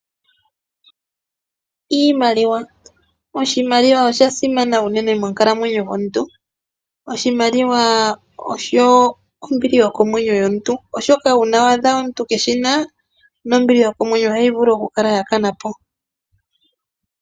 Iimaliwa, oshimaliwa osha simana uunene monkalamwenyo yomuntu. Oshimaliwa osho ombili yokomwenyo yomuntu oshoka uuna waadha omuntu keeshi na ombili yokomwenyo ohayi vulu oku kana po